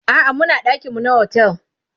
a'a Muna ɗakin mu na otel